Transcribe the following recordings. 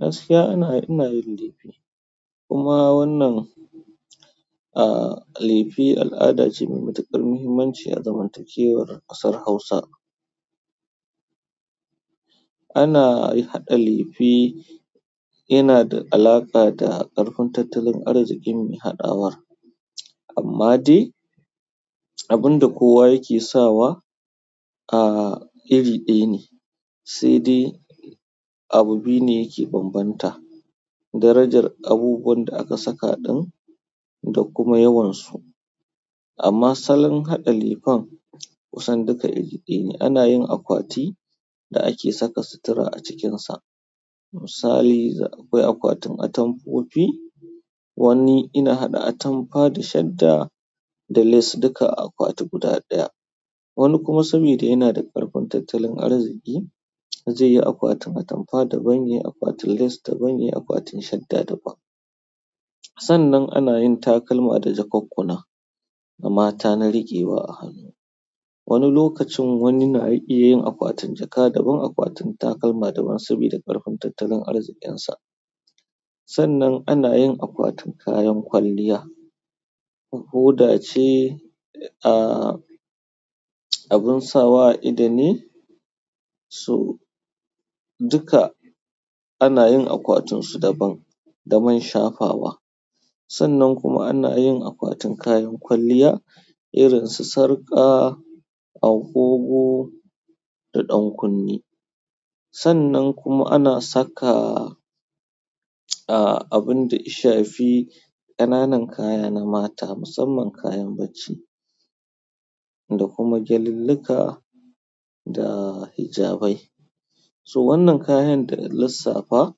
Gaskiya ana, ina yin lefe kuma wannan, aah, lefe al'ada ce mai matuƙar muhimmanci a zamantakewar ƙasar Hausa. Ana haɗa lefe yana da halaƙa da ƙarfin tattalin arzikin me haɗawa. Amma dai abin da kowa yake sawa, aah, iri ɗaya ne. Sai dai abu biyu ne yake bambanta, darajar abubuwan da aka saka ɗin da kuma yawansu. Amma salon haɗa lefen kusan duka iri ɗaya ne. Ana yin akwati da ake saka sutura a cikinsa. Misali, akwai akwatin atamfofi. Wani yana haɗa atamfa da shadda da lace duka a akwati guda ɗaya. Wani kuma sabida yana da ƙarfin tattalin arziki, zaiyi akwatin atamfa daban, yayi akwatin lace daban, yayi akwatin shadda daban. Sannan ana yin takalma da jakakkuna na mata na riƙewa a hannu. Wani lokacin wani na iya yin akwatin jaka daban, akwatin takalma daban saboda ƙarfin tattalin arzikinsa. Sannan ana yin akwatin kayan kwalliya. Hoda ce, aah, abin sawa ido ne, su duka ana yin akwatunsu daban da man shafawa. Sannan kuma ana yin akwatin kayan kwalliya irin su sarƙa, agogo da ɗankunne. Sannan kuma ana saka, aah, abin da ishafi, ƙananan kaya na mata musamman kayan bacci da kuma gyalillika da hijabai. So wannan kayan dana lissafa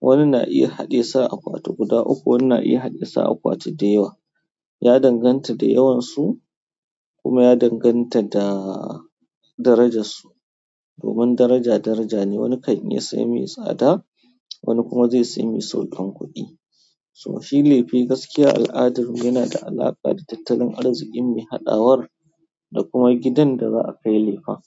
wani na iya haɗe sa akwati guda uku, wani na iya haɗe su akwati dayawa. Ya danganta da yawansu kuma ya danganta da darajarsu. Domin daraja daraja ne, wani kan iya sayan mai tsada, wani kuma zai saya mai sauƙin kuɗi. To shi lefe gaskiya al'adar yana da alaƙa da tattalin arzikin mai haɗawar da kuma gidan da za a kai lefen.